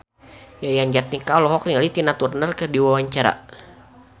Yayan Jatnika olohok ningali Tina Turner keur diwawancara